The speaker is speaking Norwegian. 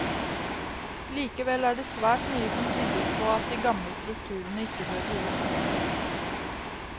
Likevel er det svært mye som tyder på at de gamle strukturene ikke døde ut.